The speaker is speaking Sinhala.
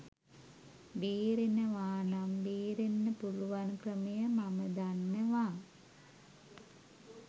බේරෙනවා නම් බේරෙන්න පුළුවන් ක්‍රමය මම දන්නවා.